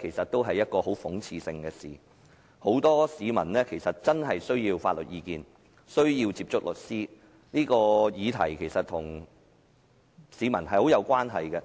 其實也是極為諷刺的事，因為很多市民真的需要法律意見、需要接觸律師，而這項議題其實與市民有極大關係。